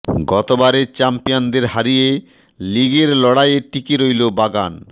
গত বারের চ্যাম্পিয়নদের হারিয়ে লিগের লড়াইয়ে টিকে রইল বাগান